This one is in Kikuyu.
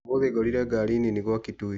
Ũmũthĩ ngorire ngari nini gwa Kitui.